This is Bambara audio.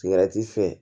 Sigɛrɛti fɛn